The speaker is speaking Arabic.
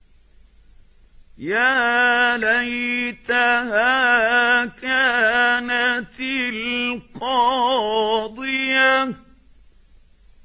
يَا لَيْتَهَا كَانَتِ الْقَاضِيَةَ